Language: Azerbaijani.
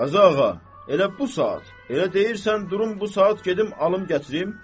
Qazağa, elə bu saat, elə deyirsən durum bu saat gedim alım gətirim?